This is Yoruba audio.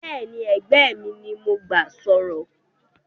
Béèni ẹgbẹ́ mi ni mó n ba sòrò